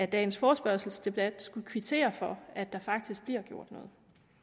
dagens forespørgselsdebat skulle kvittere for at der faktisk bliver gjort